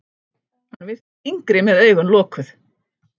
Hann virtist yngri með augun lokuð.